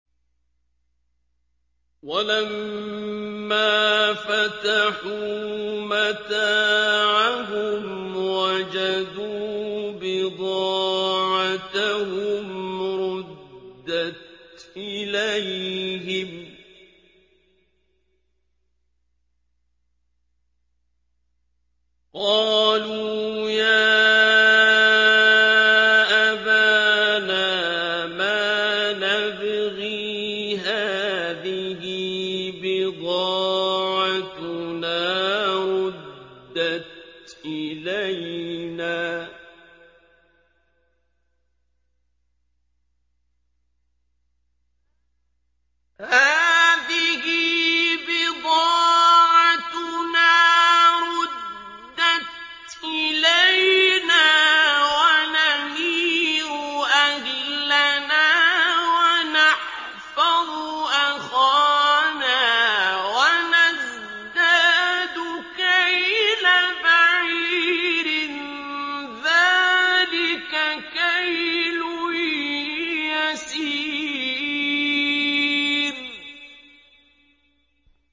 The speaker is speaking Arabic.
وَلَمَّا فَتَحُوا مَتَاعَهُمْ وَجَدُوا بِضَاعَتَهُمْ رُدَّتْ إِلَيْهِمْ ۖ قَالُوا يَا أَبَانَا مَا نَبْغِي ۖ هَٰذِهِ بِضَاعَتُنَا رُدَّتْ إِلَيْنَا ۖ وَنَمِيرُ أَهْلَنَا وَنَحْفَظُ أَخَانَا وَنَزْدَادُ كَيْلَ بَعِيرٍ ۖ ذَٰلِكَ كَيْلٌ يَسِيرٌ